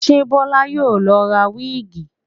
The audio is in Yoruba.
Ṣé Bọlá yóò lọ ra wíìgì?